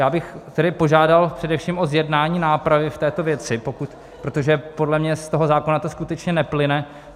Já bych tedy požádal především o zjednání nápravy v této věci, protože podle mě z toho zákona to skutečně neplyne.